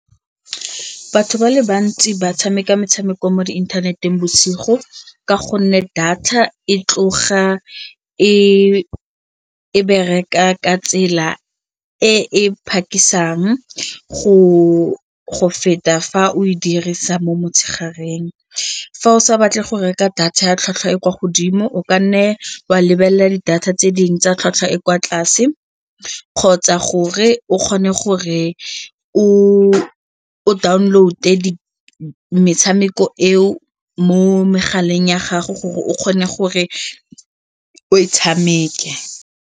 Batho ba le bantsi ba tshameka metshameko mo inthaneteng bosigo ka gonne data e tloga e bereka ka tsela e phakisang go feta fa o e dirisa mo motshegareng fa o sa batle go reka data ya tlhwatlhwa e kwa godimo o ka nne wa lebelela di-data tse dingwe tsa tlhwatlhwa e kwa tlase kgotsa gore o kgone gore o o download-e metshameko eo mo megaleng ya gago gore o kgone gore o e tshameke.